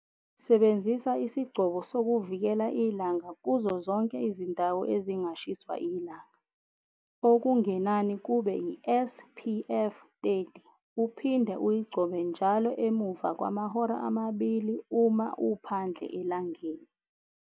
Sebenzisa isigcobo sokuvikela ilanga kuzo zonke izindawo ezingashiswa ilanga, okungenani kube iSPF 30 uphinde uyigcobe njalo emuva kwamahora amabili uma uphandle elangeni.